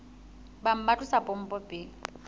bang ba tlosa pompo pele